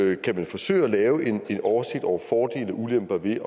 er kan man forsøge at lave en oversigt over fordele og ulemper ved